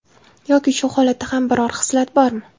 Yoki shu holatda ham biror xislat bormi?